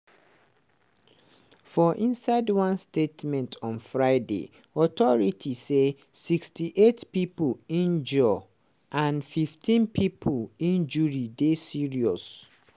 for inside one statement on friday authorities say 68 pipo injure and 15 pipo injury dey serious.